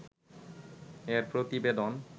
এর প্রতিবেদন